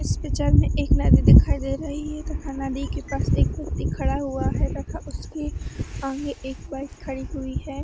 इस पिचर में एक नदी दिखाई दे रही है तथा नदी के पास एक व्यक्ति खड़ा हुआ है तथा उसकी आंगे एक बएक खड़ी हुई है।